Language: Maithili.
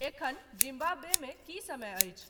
एखन जिम्बाब्वेमे की समय अछि?